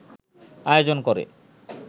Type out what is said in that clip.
আয়োজন করে